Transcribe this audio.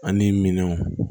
Ani minɛnw